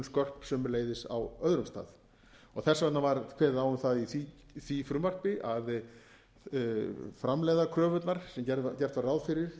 skörp sömuleiðis á öðrum stað þess vegna var kveðið á um það í því frumvarpi að framlegðarkröfurnar sem gert var ráð fyrir